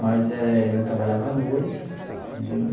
Mas eh eu trabalhava à noite, entendeu?